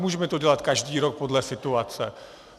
Můžeme to dělat každý rok podle situace.